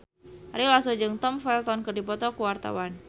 Ari Lasso jeung Tom Felton keur dipoto ku wartawan